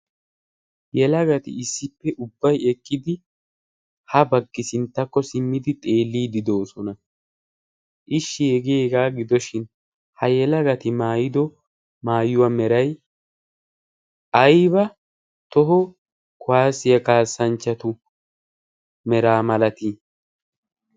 Yelagati issippe ubbay eqqidi ha baggi sinttakko simmidi xeelliidi doosona. Ishshi hegee hegaa gidoshin ha yelagati maayido maayuwaa meray ayba toho kuwaasiyaa kaassanchchatu meraa malatii?